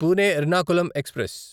Pune Ernakulam express